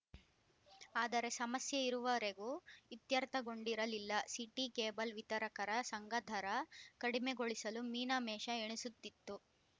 ಆದರೆ ಸಮಸ್ಯೆ ಇರುವರೆಗೂ ಇತ್ಯರ್ಥಗೊಂಡಿರಲಿಲ್ಲ ಸಿಟಿ ಕೇಬಲ್‌ ವಿತರಕರ ಸಂಘ ದರ ಕಡಿಮೆಗೊಳಿಸಲು ಮೀನ ಮೇಷ ಎಣಿಸುತ್ತಿತ್ತು